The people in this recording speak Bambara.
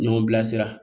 Ɲɔgɔn bilasira